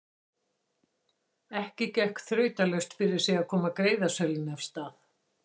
Ekki gekk þrautalaust fyrir sig að koma greiðasölunni af stað.